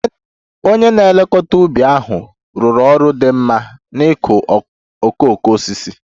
Onye na-elekọta ubi ahụ rụrụ ọrụ dị mma n'ịkụ okooko osisi